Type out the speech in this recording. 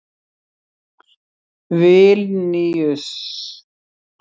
Vilníus